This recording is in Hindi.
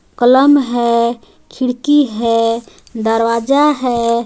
कलम है खिड़की है दरवाजा है.